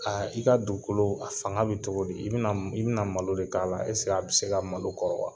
Kaa i ka dugukolo, a fanga be cogo di? I bena m i bena malo de k'a la. a be s'e ka malo kɔrɔ wa?